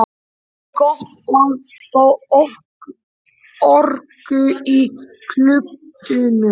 Það er gott að fá orku í kuldanum!